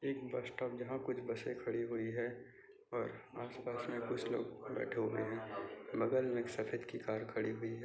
एक bus stop जहा कुछ बसे खड़ी हुई है और आस-पास मे कुछ लोग बैठे हुये है बगल मे एक सफ़ेद सी कार खड़ी हुई है।